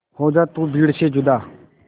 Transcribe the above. हो जा तू भीड़ से जुदा